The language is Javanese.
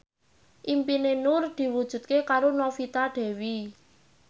impine Nur diwujudke karo Novita Dewi